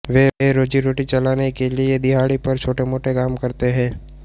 वे रोजीरोटी चलाने के लिए दिहाड़ी पर छोटेमोटे काम करते थे